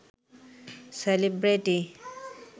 celebrity